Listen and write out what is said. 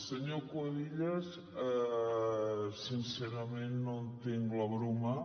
senyor cuevillas sincerament no entenc la broma